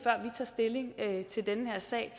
tager stilling til den her sag